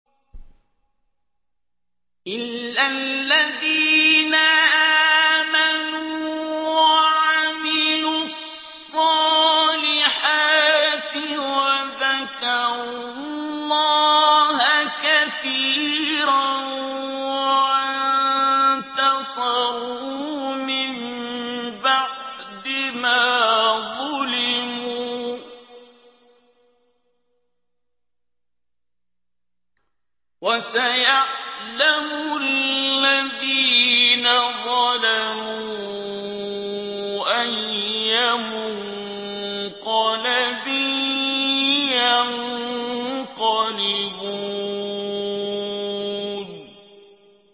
إِلَّا الَّذِينَ آمَنُوا وَعَمِلُوا الصَّالِحَاتِ وَذَكَرُوا اللَّهَ كَثِيرًا وَانتَصَرُوا مِن بَعْدِ مَا ظُلِمُوا ۗ وَسَيَعْلَمُ الَّذِينَ ظَلَمُوا أَيَّ مُنقَلَبٍ يَنقَلِبُونَ